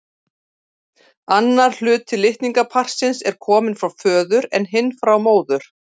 Annar hluti litningaparsins er kominn frá föður en hinn frá móður.